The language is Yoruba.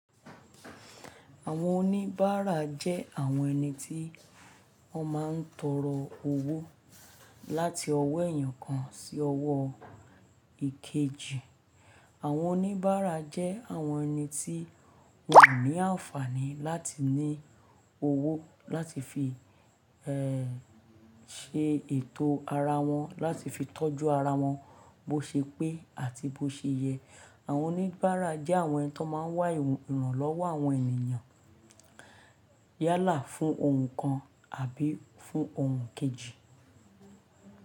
Àwọn oníbàárà jẹ́ àwọn ẹni tí wọ́n máa ń tọrọ owó láti ọwọ́ èèyàn kan sí ọwọ́ èkejì. Àwọn oníbàárà jẹ́ àwọn ẹni tí wọ́n ò ní àǹfààní láti ní owó láti fi, eh, se ètò ara wọn, láti fi tọ́jú ara wọn bó ṣe pé àti bó ṣe yẹ. Àwọn oníbàárà jẹ́ àwọn ẹni tó máa ń wá ìrànlọ́wọ́ àwọn ènìyàn yálà fún ohun kan àbí fún ohun kejì.